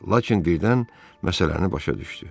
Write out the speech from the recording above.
Lakin birdən məsələni başa düşdü.